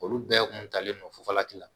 Olu bɛɛ kun talen don fufalaki la